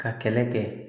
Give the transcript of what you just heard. Ka kɛlɛ kɛ